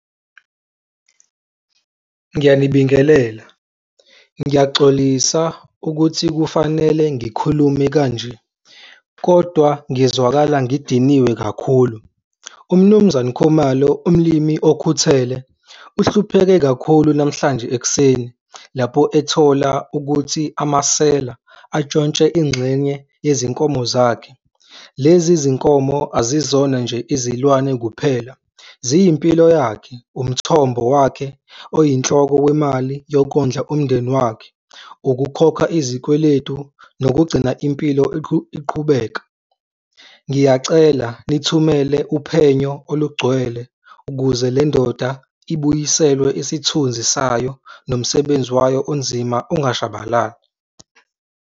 Ngiyanibingelela, ngiyaxolisa ukuthi kufanele ngikhulume kanje, kodwa ngizwakala ngidiniwe kakhulu. UMnumzane Khumalo, umlimi okhuthele uhlupheke kakhulu namhlanje ekuseni lapho ethola ukuthi amasela atshontshe ingxenye yezinkomo zakhe. Lezi zinkomo azizona nje izilwane kuphela, ziyimpilo yakhe, umthombo wakhe oyinhloko kwemali yokondla umndeni wakhe, ukukhokha izikweletu nokugcina impilo iqhubeka. Ngiyacela nithumele uphenyo olugcwele ukuze le ndoda ibuyiselwe isithunzi sayo nomsebenzi wayo onzima ungashabalali.